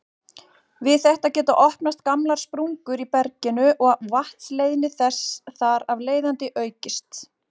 Við þetta geta opnast gamlar sprungur í berginu og vatnsleiðni þess þar af leiðandi aukist.